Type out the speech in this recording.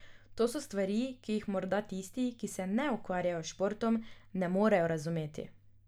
To so stvari, ki jih morda tisti, ki se ne ukvarjajo s športom, ne morejo razumeti.